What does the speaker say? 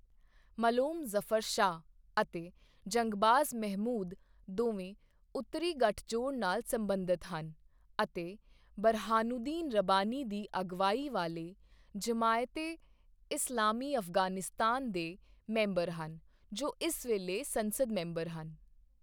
ਮਲੋਮ ਜ਼ਫ਼ਰ ਸ਼ਾਹ ਅਤੇ ਜੰਗਬਾਜ਼ ਮਹਿਮੂਦ ਦੋਵੇਂ ਉੱਤਰੀ ਗੱਠਜੋੜ ਨਾਲ ਸਬੰਧਤ ਹਨ ਅਤੇ ਬੁਰਹਾਨੂਦੀਨ ਰੱਬਾਨੀ ਦੀ ਅਗਵਾਈ ਵਾਲੇ ਜਮਾਇਤ ਏ ਇਸਲਾਮੀ ਅਫ਼ਗ਼ਾਨਿਸਤਾਨ ਦੇ ਮੈਂਬਰ ਹਨ ਜੋ ਇਸ ਵੇਲੇ ਸੰਸਦ ਮੈਂਬਰ ਹਨ।